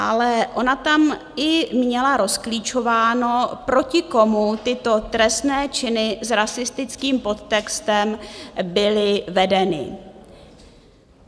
Ale ona tam i měla rozklíčováno, proti komu tyto trestné činy s rasistickým podtextem byly vedeny.